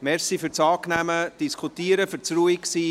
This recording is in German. Danke für das angenehme Diskutieren, für das Ruhigsein!